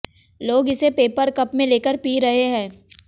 लोग इसे paper cup में लेकर पी रहे हैं